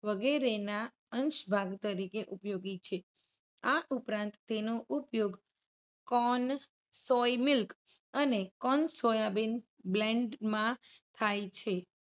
વગેરેના અંશ ભાગ તરીકે ઉપયોગી છે. આ ઉપરાંત તેનો ઉપયોગ corn, soy milk, અને corn સોયાબીન blend માં થાય છે.